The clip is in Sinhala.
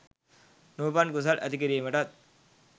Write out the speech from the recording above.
නූපන් කුසල් ඇති කිරීමටත්,